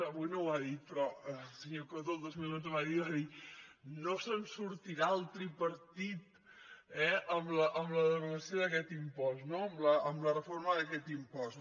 avui no ho ha dit però el senyor coto el dos mil onze va dir no se’n sortirà el tripartit eh amb al derogació d’aquest impost no amb la reforma d’aquest impost